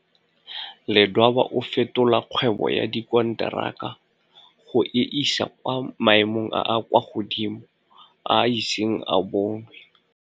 Ledwaba o fetola kgwebo ya dikonteraka go e isa kwa maemong a a kwa godimo a iseng a bonwe.